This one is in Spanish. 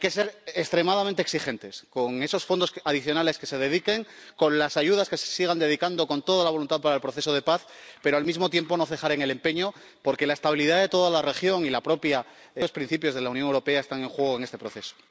Hay que ser extremadamente exigentes con esos fondos adicionales que se dediquen, con las ayudas que se sigan dedicando con toda la voluntad para el proceso de paz, pero, al mismo tiempo, no hay que cejar en el empeño, porque la estabilidad de toda la región y los propios principios de la Unión Europea están en juego en este proceso.